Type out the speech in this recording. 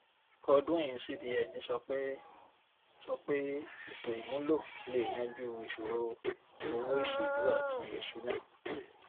godwin cbn sọ pé sọ pé ètòìmúlò lè yanjú ìṣòro owó ìṣèlú àti ìṣúná